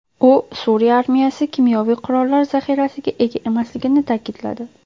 U Suriya armiyasi kimyoviy qurollar zaxirasiga ega emasligini ta’kidladi.